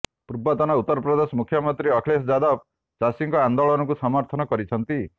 ପୂର୍ବତନ ଉତ୍ତର ପ୍ରଦେଶ ମୁଖ୍ୟମନ୍ତ୍ରୀ ଅଖିଳେଶ ଯାଦବ ଚାଷୀଙ୍କ ଆନେ୍ଦାଳନକୁ ସମର୍ଥନ କରିଛନ୍ତି